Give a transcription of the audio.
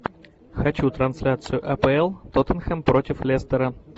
хочу трансляцию апл тоттенхэм против лестера